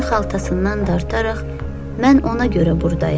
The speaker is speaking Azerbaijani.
İtin xaltasından dartaraq mən ona görə burdayam.